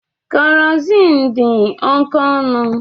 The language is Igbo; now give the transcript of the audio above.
Kerosin dị oke ọnụ